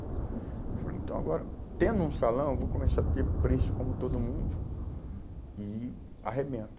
Eu falei, então agora, tendo um salão, eu vou começar a ter preço como todo mundo, uhum, e arrebento.